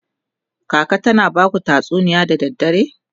kaka tana Baku tatsuniya da dare?